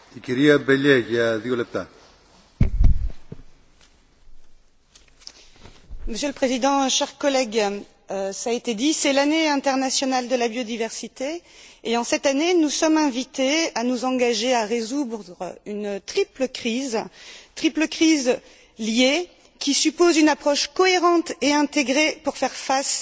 Monsieur le Président, chers collègues, cela a été dit, c'est l'Année internationale de la biodiversité et, cette année, nous sommes invités à nous engager à résoudre une triple crise, dont les trois éléments sont liés, qui suppose une approche cohérente et intégrée pour y faire face et sortir d'une crise écologique, qui a des répercussions directes sur notre économie et sur notre modèle social.